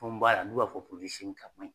Tɔn b'a la n'u b'a fɔ kaɲi